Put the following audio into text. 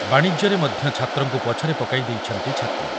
ବାଣିଜ୍ୟରେ ମଧ୍ୟ ଛାତ୍ରଙ୍କୁ ପଛରେ ପକାଇ ଦେଇଛନ୍ତି ଛାତ୍ରୀ ।